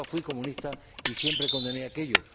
Nunca fui comunista y siempre condené aquello.